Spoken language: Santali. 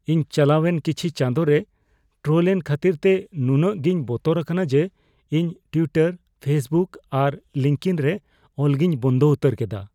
ᱤᱧ ᱪᱟᱞᱟᱣᱮᱱ ᱠᱤᱪᱷᱤ ᱪᱟᱸᱫᱳᱨᱮ ᱴᱨᱚᱞ ᱮᱱ ᱠᱷᱟᱹᱛᱤᱨ ᱛᱮ ᱱᱩᱱᱟᱹᱜ ᱜᱴᱤᱧ ᱵᱚᱛᱚᱨ ᱟᱠᱟᱱᱟ ᱡᱮ ᱤᱧ ᱴᱩᱭᱴᱟᱨ, ᱯᱷᱮᱥᱵᱩᱠ ᱟᱨ ᱞᱤᱝᱠᱤᱱ ᱨᱮ ᱚᱞ ᱜᱤᱧ ᱵᱚᱱᱫᱚ ᱩᱛᱟᱹᱨ ᱠᱮᱫᱟ ᱾ (ᱦᱚᱲ ᱑)